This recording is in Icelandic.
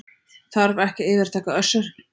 Þarf ekki að yfirtaka Össur